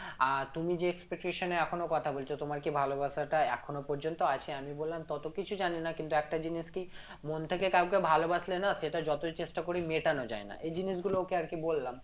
আহ তুমি যে expectation এ এখনো কথা বলছো তোমার কি ভালোবাসাটা এখনো পর্যন্ত আছে আমি বললাম তত কিছু জানিনা কিন্তু একটা জিনিস কি মন থেকে কাওকে ভালোবাসলে না সেটা যতই চেষ্টা করি মেটানো যাই না এ জিনিসগুলো ওকে আরকি বললাম নিয়ে ও কি বললো?